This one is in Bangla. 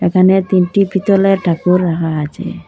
এখানে তিনটি পিতলের ঠাকুর রাখা আচে।